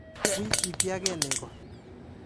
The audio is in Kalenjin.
Wi ipiake nego.